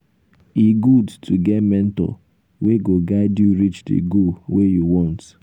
e good to get mentor wey um go guide you reach di goal wey you want.